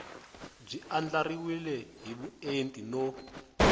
byi andlariwile hi vuenti no